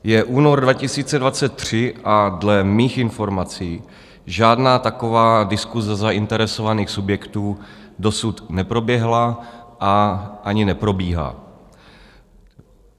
Je únor 2023 a dle mých informací žádná taková diskuse zainteresovaných subjektů dosud neproběhla a ani neprobíhá.